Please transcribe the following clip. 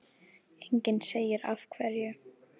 Enginn segir af hverju.